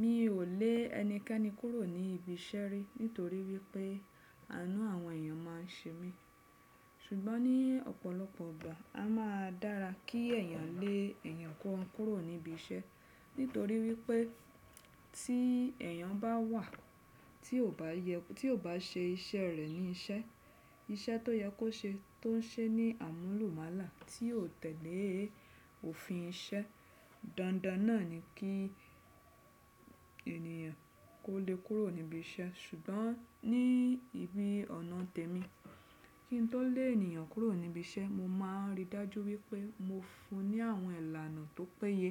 Mi ò lé ẹnikẹ́ni kúrò ní ibi iṣẹ́ rí nítorí wípé àánú àwọn èèyàn máa ń ṣe mí. Ṣùgbọ́n ní ọ̀pọ̀lọpọ̀ ìgbà, a máa dára kí èèyàn lé èèyàn kan kúrò níbi iṣẹ́. Nítorí wípé tí èèyàn bá wà, tí ò bá yẹ, tí ò bá ṣe iṣẹ́ẹ rẹ̀ ní iṣẹ́, iṣẹ́ tó yẹ kó ṣe tó ń ṣe ní àmúlùmálà, tí ò tẹ̀lé òfin iṣẹ́. Dandan náà ni kí ènìyàn kó lée kúrò níbi iṣẹ́. Ṣùgbọ́n ní ibi ọ̀nà tèmi, kí n tó lé ènìyàn kúrò níbi iṣẹ́, mo máa ń ri dájú wípé mo fún un ní àwọn ìlànà tó péye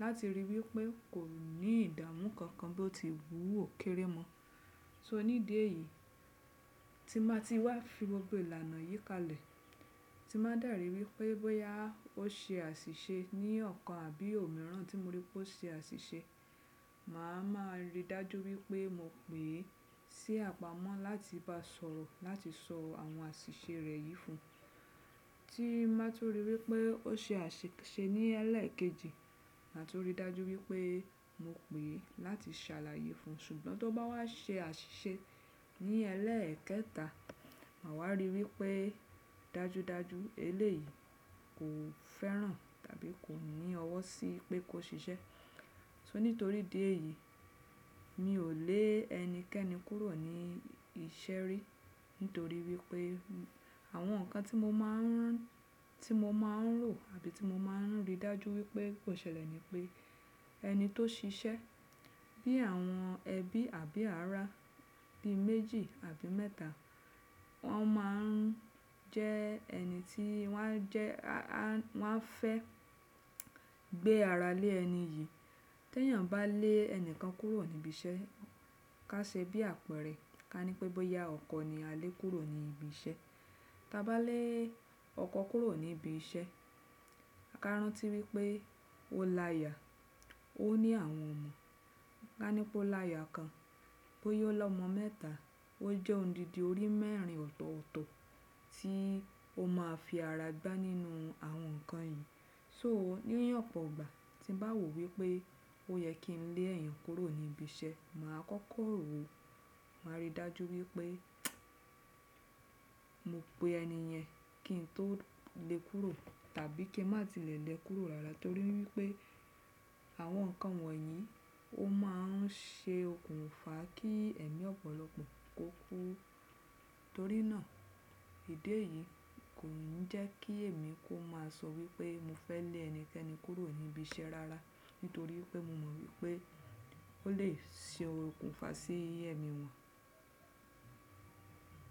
láti ríi wípé kò ní ìdàmú kankan bí ó ti wù ó kéré mọ. So ní ìdí èyí, tí n bá ti wá fi gbogbo ìlànà yìí kalẹ̀, tí n bá dẹ̀ ríi wípé bóyá ó ṣe àṣìṣe ní ọ̀kan àbí òmíràn, tí mo ríi pé ó ṣe àṣìṣe, màá máa ríi dájú wípé mo pè é sí àpamọ́ láti bá a sọ̀rọ̀ láti sọ àwọn àṣìṣe rẹ̀ yìí fún un. Tí n bá tún ríi wípé ó ṣe àṣìṣe ní ẹlẹ́ẹ̀kejì, màá tún rí dájú wípé mo pè é láti ṣàlàyé fún un. Ṣùgbọ́n tó bá wá ṣe àṣìṣe ní ẹlẹ́ẹ̀kẹta, màá wá ríi wípé dájúdájú eléyìí kò fẹ́ràn tàbí kò ní ọwọ́ sí pé kó ṣiṣẹ́. So nítorí ìdí èyí, mi ò lé ẹnikẹ́ni kúrò ní iṣẹ́ rí nítorí wípé àwọn nǹkan tí mo máa ń tí mo máa ń rò àbí tí mo màa ń ríi dájú wípé kò ṣẹlẹ̀ ni pé, ẹni tó ṣiṣẹ́ bíi àwọn ẹbí àbí ará bíi méjì àbí mẹ́ta, wọ́n máa ń jẹ ẹni tí, wọ́n á jẹ́—wọ́n á fẹ́ gbé ara lé ẹni yìí. T'éèyàn bá lé ẹni kan kúrò níbi iṣẹ́, ká ṣe bí àpẹẹrẹ, ká ní pé bóyá ọkọ ni a lé kúrò ní ibi iṣẹ́. Táa bá lé ọkọ kúrò ní ibi iṣẹ́, ká rántí wípé ó láya, ó ní àwọn ọmọ. Ká ní pé ó làya kan, bóyá ó lọ́mọ mẹ́ta, ó jẹ́ odidi orí mẹ́rin ọ̀tọ̀ọ̀tọ̀ tí ó máa fi ara gbá nínú àwọn nǹkan yẹn. So ní ọ̀pọ̀ ìgbà, tí n bá wòó wípé ó yẹ kí n lé èèyàn kúrò níbi iṣẹ́, màá kọ́kọ́ rò ó, màá rí dájú wípé mo pe ẹni yẹn kí n tó lé e kúrò tàbí kí n má tilẹ̀ lé e kúrò rara torí wípé àwọn nǹkan wọ̀nyí ó máa ń ṣe okùnfà kí ẹ̀mí ọ̀pọ̀lọpọ̀ kó kú. Torí náà, ìdí èyí kò ń jẹ́ kí èmi kó máa sọ wípé mo fẹ́ lé ẹnikẹ́ni kúrò níbi iṣẹ́ rárá nítorí wípé mo mọ wípé ó lè ṣe okùnfà sí ẹ̀mí wọ̀n.